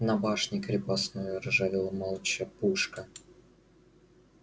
на башне крепостной ржавела молча пушка